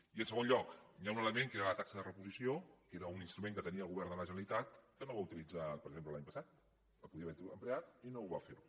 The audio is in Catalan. i en segon lloc hi ha un element que era la taxa de reposició que era un instrument que tenia el govern de la generalitat que no va utilitzar per exemple l’any passat el podia haver emprat i no va fer ho